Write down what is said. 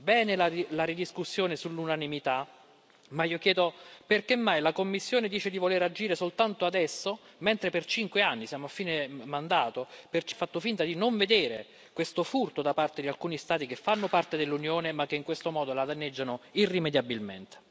Bene la ridiscussione sull'unanimità, ma io chiedo perché mai la Commissione dice di voler agire soltanto adesso, mentre per cinque anni siamo a fine mandato ha fatto finta di non vedere questo furto da parte di alcuni Stati che fanno parte dell'Unione ma che in questo modo la danneggiano irrimediabilmente.